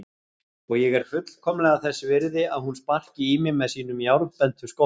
Og ég er fullkomlega þess virði að hún sparki í mig með sínum járnbentu skóm.